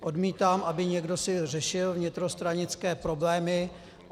Odmítám, aby si někdo řešil vnitrostranické problémy.